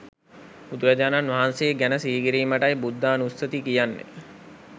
බුදුරජාණන් වහන්සේ ගැන සිහිකිරීමටයි බුද්ධානුස්සති කියන්නේ